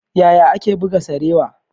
Yaya ake buga sarewa?